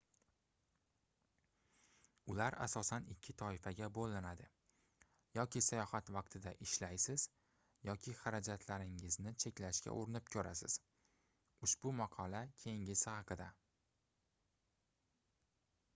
ular asosan ikki toifaga boʻlinadi yoki sayohat vaqtida ishlaysiz yoki xarajatlaringizni cheklashga urinib koʻrasiz ushbu maqola keyingisi haqida